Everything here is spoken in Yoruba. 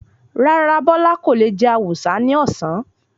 Rárá, Bọ́lá kò le jẹ awùsá ní ọ̀sán.